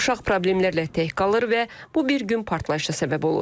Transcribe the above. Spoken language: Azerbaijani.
Uşaq problemlərlə tək qalır və bu bir gün partlayışa səbəb olur.